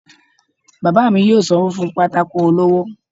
baba mí yóò sanwo fún pàtàkó olọwọ